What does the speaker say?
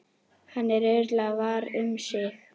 Hann er örugglega var um sig.